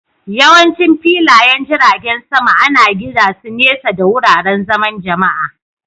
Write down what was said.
Yawancin filayen jiragen sama ana gina su nesa da wuraren zaman Jama'a